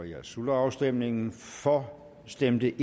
jeg slutter afstemningen for stemte